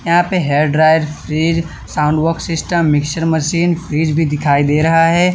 यहां पे hair dryer fridge sound box system mixer machine fridge भी दिखाई दे रहा है।